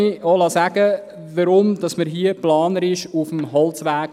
Weshalb sind wir hier planerisch auf dem Holzweg?